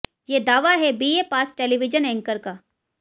ये दावा है बीए पास टेलीविजन एंकर का